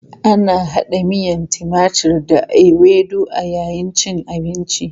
Ana hada miyan timatur da ewedu a yayin cin abinci.